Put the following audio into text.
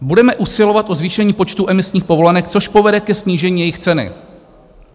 "Budeme usilovat o zvýšení počtu emisních povolenek, což povede ke snížení jejich ceny."